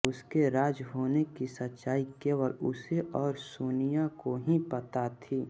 उसके राज होने की सच्चाई केवल उसे और सोनिया को ही पता थी